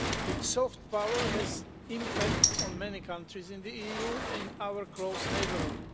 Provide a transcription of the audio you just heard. Its soft power has impact on many countries in the EU in our close neighbourhood.